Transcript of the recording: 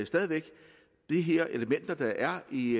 stadig væk at de her elementer der er i